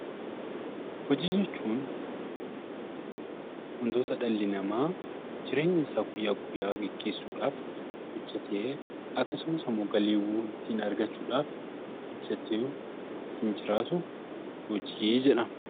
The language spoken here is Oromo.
Hojii jechuun wantoota dhalli namaa jireenya isaa guyyaa guyyaa geggeessuudhaaf hojjetee akkasumas immoo galiiwwan ittiin argachuudhaaf hojjetee ittiin jiraatu hojii jedhama.